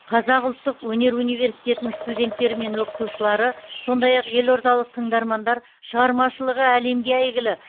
қазақ ұлттық өнер университетінің студенттері мен оқытушылары сондай ақ еордалық тыңдармандар шығармашылығы әлемге әйгілі